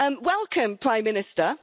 Welcome, Prime Minister.